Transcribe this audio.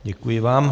Děkuji vám.